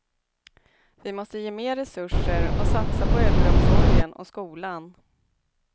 Vi måste ge mer resurser och satsa på äldreomsorgen och skolan.